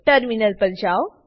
terminal પર જાઓ